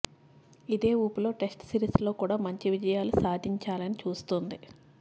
ఇదే ఊపులో test series లో కూడా మంచి విజయాలు సాధించాలని చూస్తోంది